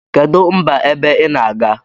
Kedu mba ebe inaga?